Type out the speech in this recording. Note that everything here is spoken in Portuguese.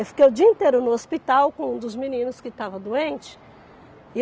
Eu fiquei o dia inteiro no hospital com um dos meninos que estava doente.